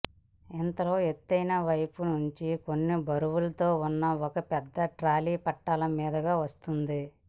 ఇంతలో ఎత్తున్న వైపు నుంచి కొన్ని బరువులతో ఉన్న ఓ పెద్ద ట్రాలీ పట్టాల మీదుగా వస్తోంది